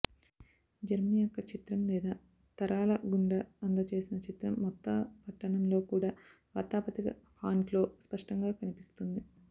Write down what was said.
Germany యొక్క చిత్రం లేదా తరాల గుండా అందజేసిన చిత్రం మొత్త పట్టణంలో కూడా వార్తాపత్రిక ఫాంట్లో స్పష్టంగా కనిపిస్తుంది